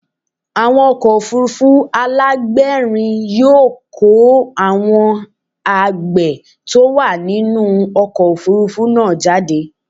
Àwọn ọkọ̀ òfuurufú alágbèérìn yóò kó àwọn àgbá tó wà nínú ọkọ̀ òfuurufú náà jáde.